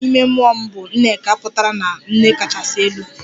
Aha ime mmụọ m bụ 'Nneka' pụtara na nne kachasị elu